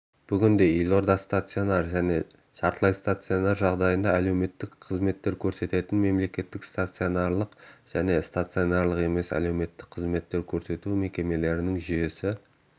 бүгінде елордада стационар және жартылай стационар жағдайында арнайы әлеуметтік қызметтер көрсететін мемлекеттік стационарлық және стационарлық емес әлеуметтік қызмет көрсету мекемелерінің жүйесі